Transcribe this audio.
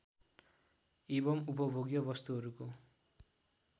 एवं उपभोग्य वस्तुहरूको